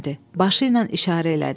Başı ilə işarə elədi.